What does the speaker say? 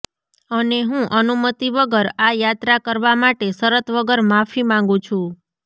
અને હું અનુમતિ વગર આ યાત્રા કરવા માટે શરત વગર માફી માંગું છું